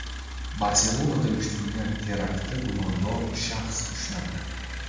Barselonada uyushtirilgan teraktda gumondor shaxs ushlandi.